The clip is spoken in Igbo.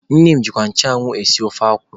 Nne m ji nchụanwụ sie ofe akwụ.